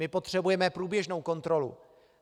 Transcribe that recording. My potřebujeme průběžnou kontrolu.